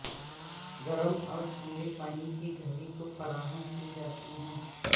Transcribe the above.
گرم اور ٹھنڈے پانی کی گھڑی کو فراہم کی جاتی ہے